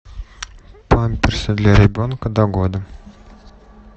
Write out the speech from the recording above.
памперсы для ребенка до года